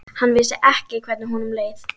Hann vissi ekki hvernig honum leið.